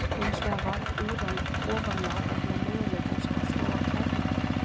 Hins vegar varð úran ofan á vegna möguleikans á að þróa kjarnorkuvopn.